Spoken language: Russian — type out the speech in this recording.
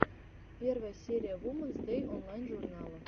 первая серия вумэнс дэй онлайн журнала